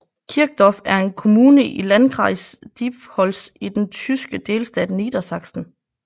Kirchdorf er en kommune i i Landkreis Diepholz i den tyske delstat Niedersachsen